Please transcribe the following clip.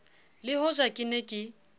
le hoja ke ne ke